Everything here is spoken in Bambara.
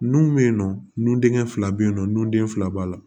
Nun be yen nɔ nu denkɛ fila be yen nɔ nun den fila b'a la